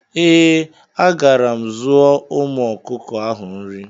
Eeh, agara m zụọ ụmu ọkụkọ ahụ nri